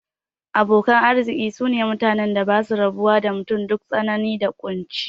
Abokan arziki sune mutanen da basu rabuwa da mutum duk tsanani da kunci